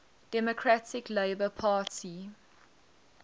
democratic labour party